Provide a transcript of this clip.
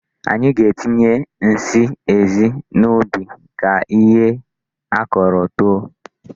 Anyị na-etinye nsị ezi n'ubi ka ihe a kọrọ too.